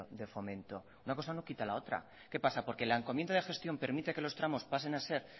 de fomento una cosa no quita la otra qué pasa porque la encomienda de gestión permite que los tramos pasen a ser